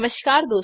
नमस्कार दोस्तों